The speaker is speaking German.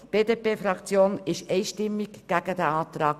Das ist doch immerhin ein effizienter Anfang.